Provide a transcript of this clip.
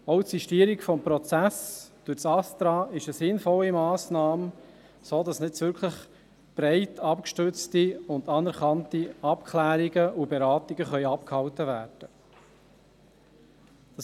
Auch die Sistierung des Prozesses durch das ASTRA ist eine sinnvolle Massnahme, sodass man nun wirklich breit abgestützte und anerkannte Abklärungen und Beratungen abgehalten werden können.